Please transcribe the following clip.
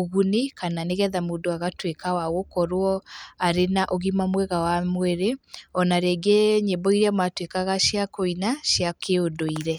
ũguni, kana nĩgetha mũndũ agatũĩka wa gũkorwo arĩ na ũgima mwega wa mũĩrĩ ona rĩngĩ nyĩmbo iria matuĩkaga cia kũina cia kĩũndũire.